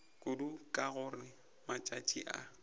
kudu ka gore matšatši a